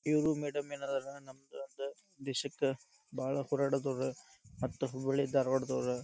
ಇವರು ಮೇಡಂ ಏನದಾರ ನಮ್ಮದೊಂದ ದೇಶಕ್ಕ ಬಾಳ ಹೋರಾಡಿದೋರ ಮತ್ತ ಹುಬ್ಬಳ್ಳಿ ಧಾರಾವಾಡದವ್ರ .